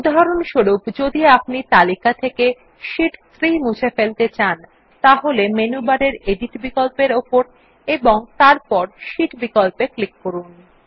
উদাহরণস্বরূপ যদি আপনি তালিকা থেকে শীট 3 মুছে ফেলতে চান তাহলে মেনু বারের এডিট বিকল্প উপর এবং তারপর শীট বিকল্পে ক্লিক করুন